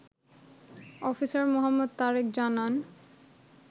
Officer মো. তারেক জানান